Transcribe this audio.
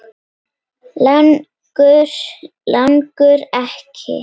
Langar, langar ekki.